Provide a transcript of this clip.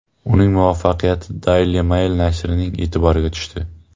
Uning muvaffaqiyati Daily Mail nashri e’tiboriga tushdi.